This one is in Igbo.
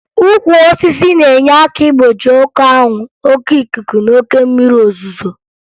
Ukwu osisi na-enye aka igbochi oke anwụ, oke ikuku na oke mmiri ozuzo